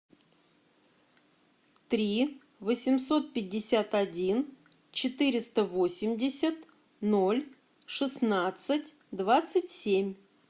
три восемьсот пятьдесят один четыреста восемьдесят ноль шестнадцать двадцать семь